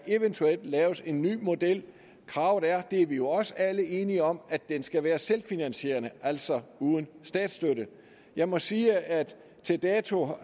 eventuelt kan laves en ny model kravet er det er vi jo også alle enige om at den skal være selvfinansierende altså uden statsstøtte jeg må sige at til dato